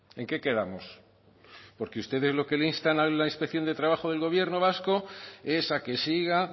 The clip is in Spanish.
en qué quedamos porque ustedes lo que le instan a la inspección de trabajo del gobierno vasco es a que siga